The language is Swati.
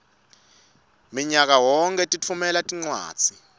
minyakayonkhe litfumela tincwadzi